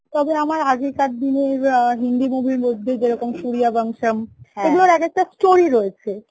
তবে আমার আগেকার দিনের আ হিন্দি movie র মধ্যে যেরকম Sooryavansham এক একটা story রয়েছে